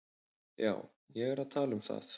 Já, ég er að tala um það.